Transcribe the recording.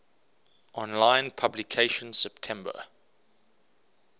online publication september